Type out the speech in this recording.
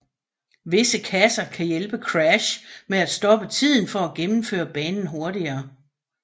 Visse kasser kan hjælpe Crash med at stoppe tiden for at gennemføre banen hurtigere